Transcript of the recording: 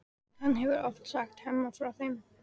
Hann hefur oft sagt Hemma frá þeim.